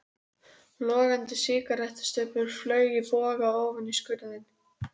Logandi sígarettustubbur flaug í boga ofan í skurðinn.